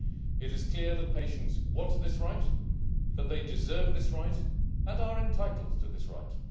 It is clear that patients want this right, and that they deserve this right and are entitled to this right.